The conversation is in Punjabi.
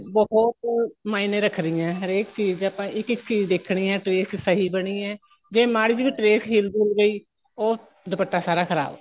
ਬਹੁਤ ਮਾਈਨੇ ਰੱਖਦੀਆਂ ਏ ਹਰੇਕ ਚੀਜ਼ ਦੇ ਆਪਾਂ ਇੱਕ ਚੀਜ਼ ਦੇਖਣੀ ਏ trace ਸਹੀ ਬਣੀ ਏ ਜੇ ਮਾੜੀ ਜੀ ਵੀ trace ਹਿਲ ਹੂਲ ਗਈ ਉਹ ਦੁਪੱਟਾ ਸਾਰਾ ਖਰਾਬ